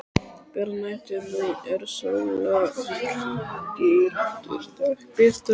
Björn mælti: Nú eru sólarlitlir dagar, piltar!